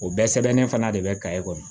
O bɛɛ sɛbɛnnen fana de bɛ ka e kɔnɔ